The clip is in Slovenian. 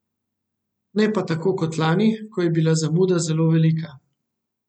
Ne pa tako kot lani, ko je bila zamuda zelo velika.